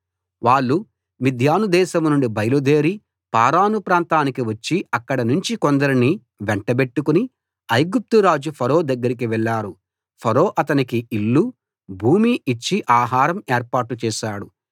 వాళ్ళు మిద్యాను దేశం నుండి బయలు దేరి పారాను ప్రాంతానికి వచ్చి అక్కడినుంచి కొందరిని వెంటబెట్టుకుని ఐగుప్తు రాజు ఫరో దగ్గరికి వెళ్ళారు ఫరో అతనికి ఇల్లు భూమి ఇచ్చి ఆహారం ఏర్పాటు చేశాడు